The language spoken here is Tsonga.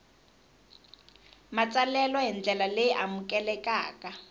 matsalelo hi ndlela leyi amukelekaka